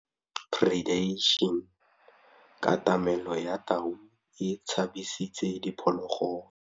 Katamêlô ya tau e tshabisitse diphôlôgôlô.